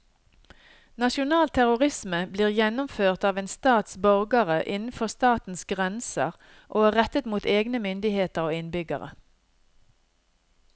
Nasjonal terrorisme blir gjennomført av en stats borgere innenfor statens grenser og er rettet mot egne myndigheter og innbyggere.